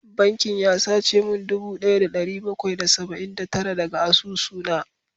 Bankin ya sace min dubu daya da dari bakwai da saba’in da tara daga asusuna